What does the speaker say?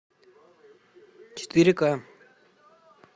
четыре ка